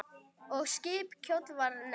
Og skip kjóll var nefnt.